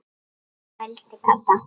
vældi Kata.